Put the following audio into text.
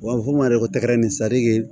U b'a fɔ ma de ko tɛgɛrɛ nin sadi